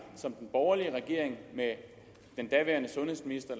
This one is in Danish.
som den borgerlige regering med den daværende sundhedsminister